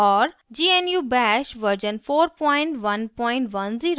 gnu bash version 4110